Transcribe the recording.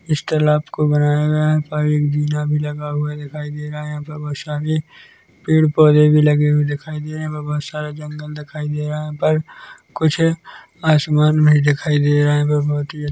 Easter लॉक को बनाया गया है पर इंजिना लगा हुआ दिखाई दे रहा है यहाँ पे वर्षा भी पेड़ -पौधे भी लगे हुए दिखाई दे रहे है बहुत सारा जंगल दिखाई दे रहा है यहाँ पर कुछ आसमान भी दिखाई दे रहा है बोहोत ही अच् --